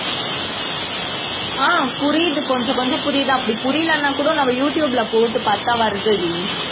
ஆஹ் புரியுது கொஞ்சம் கொஞ்சம் புரியுது அப்படி புரியலைன்னா நம்ம யூடுயூப்ல போட்டு பாத்தா வருதுடி